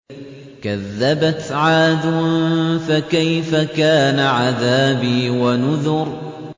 كَذَّبَتْ عَادٌ فَكَيْفَ كَانَ عَذَابِي وَنُذُرِ